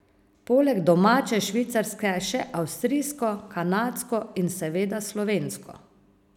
Poleg domače švicarske še avstrijsko, kanadsko in seveda slovensko.